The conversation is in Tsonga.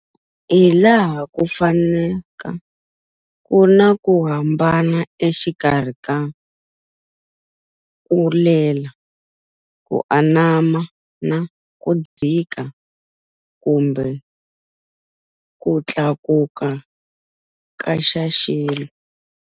Hilaha ku fanaka kuna ku hambana exikarhi ka kulela, ku anama na kudzika kumbe kutlakuka ka xa xilo.